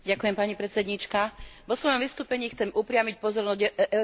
Vo svojom vystúpení chcem upriamiť pozornosť Európskeho parlamentu na